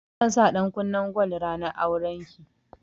Zan sa ɗankunnen gwal ranar auren ki